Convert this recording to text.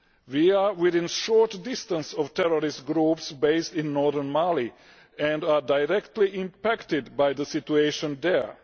We are within a short distance of terrorist groups based in northern Mali and are directly impacted by the situation there.